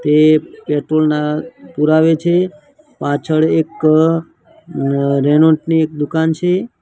તે પેટ્રોલ ના પુરાવે છે પાછળ એક ની એક દુકાન છે.